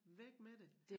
Væk med det